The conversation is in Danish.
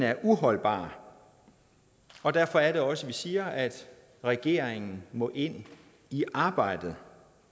er uholdbar og derfor er det også at vi siger at regeringen må ind i arbejdet